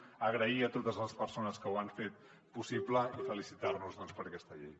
donar les gràcies a totes les persones que ho han fet possible i felicitar nos doncs per aquesta llei